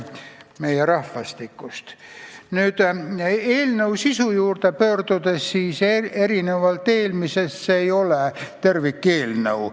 Mis puutub eelnõu sisusse, siis erinevalt eelmisest see ei ole tervikeelnõu.